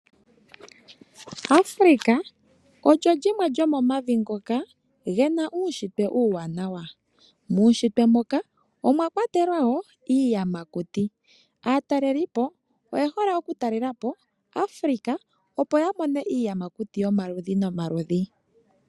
Africa olyo limwe lyomomavi ngoka gena uushitwe uuwanawa. Muushitwe moka omwa kwatelwa woo iiyamakuti. Aatalelipo oye hole oku talelapo Africa opo ya mone iiyamakuti yomaludhi nomaludhi.